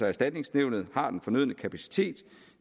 erstatningsnævnet har den fornødne kapacitet